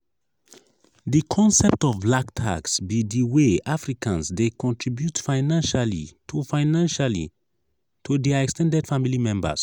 di concept of "black tax" be di way africans dey contribute financially to financially to dia ex ten ded family members.